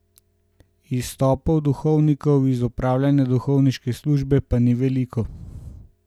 Izstopov duhovnikov iz opravljanja duhovniške službe pa ni veliko.